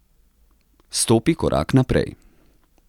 Stopi korak naprej.